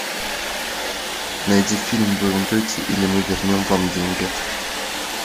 найди фильм вы умрете или мы вернем вам деньги